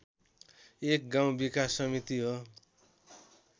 एक गाउँ विकास समिति हो